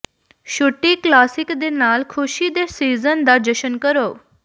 ਛੁੱਟੀ ਕਲਾਸਿਕ ਦੇ ਨਾਲ ਖੁਸ਼ੀ ਦੇ ਸੀਜ਼ਨ ਦਾ ਜਸ਼ਨ ਕਰੋ